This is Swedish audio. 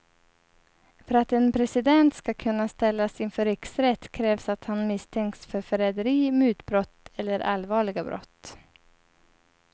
För att en president ska kunna ställas inför riksrätt krävs att han misstänks för förräderi, mutbrott eller allvarliga brott.